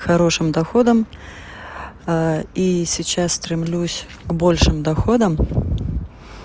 хорошим доходам и сейчас стремлюсь к большим доходам